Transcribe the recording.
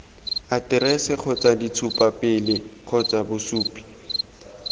aterese kgotsa ditshupapele kgotsa bosupi